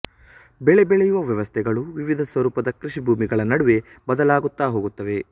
ಬೆಳೆ ಬೆಳೆಯುವ ವ್ಯವಸ್ಥೆಗಳು ವಿವಿಧ ಸ್ವರೂಪದ ಕೃಷಿಭೂಮಿಗಳ ನಡುವೆ ಬದಲಾಗುತ್ತಾ ಹೋಗುತ್ತವೆ